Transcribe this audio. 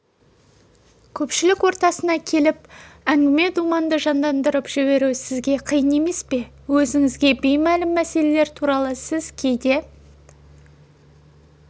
көпшілік ортасына келіп әңгіме-думанды жандандырып жіберу сізге қиын емес пе өзіңізге беймәлім мәселелер туралы сіз кейде